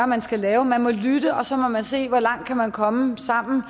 man skal lave man må lytte og så må man se hvor langt man kan komme sammen og